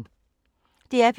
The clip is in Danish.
DR P2